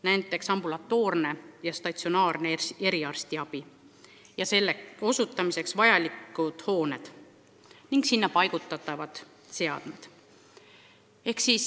Pean silmas näiteks ambulatoorse ja statsionaarse eriarstiabi osutamiseks vajalikke hooneid ning sinna paigutatavaid seadmeid.